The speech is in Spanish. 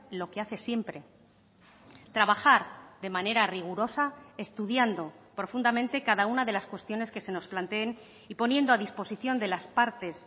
lo que hace siempre trabajar de manera rigurosa estudiando profundamente cada una de las cuestiones que se nos planteen y poniendo a disposición de las partes